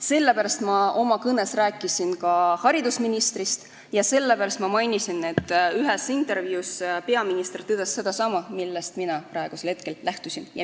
Sellepärast ma oma kõnes rääkisin ka haridusministrist ja mainisin, et ühes intervjuus peaminister tõdes sedasama, millest mina praegu lähtusin.